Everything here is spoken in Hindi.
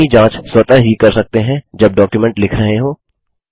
वर्तनी जाँच स्वतः ही कर सकते हैं जब डॉक्युमेंट लिख रहे हों